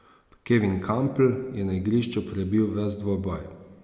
Kevin Kampl je na igrišču prebil ves dvoboj.